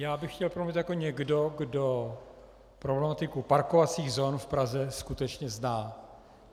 Já bych chtěl promluvit jako někdo, kdo problematiku parkovacích zón v Praze skutečně zná.